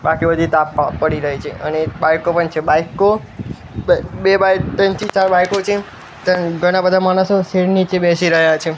બાકી બધી તાપ મા પડી રહી છે અને બાઈકો પણ છે બાઈકો બે બે બાઈક ત્રણથી ચાર બાઈકો છે ત્યાં ઘણા બધા માણસો શેડ નીચે બેસી રહ્યા છે.